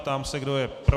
Ptám se, kdo je pro.